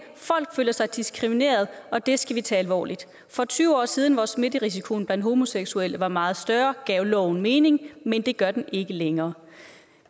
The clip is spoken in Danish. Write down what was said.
folk føler sig diskrimineret og det skal vi tage alvorligt for tyve år siden hvor smitterisikoen blandt homoseksuelle var meget større gav loven mening men det gør den ikke længere